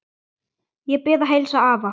Ég bið að heilsa afa.